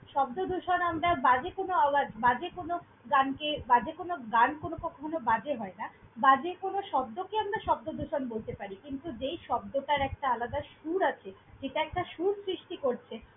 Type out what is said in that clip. শব্দদূষণ আমরা বাজে কোনো আওয়াজ, বাজে কোনো গানকে, বাজে কোনো গান কোনো কখনো বাজে হয় না। বাজে কোনো শব্দকে আমরা শব্দদূষণ বলতে পারি। কিন্তু, যেই শব্দটার একটা আলাদা সুর আছে, যেটা একটা সুর সৃষ্টি করছে।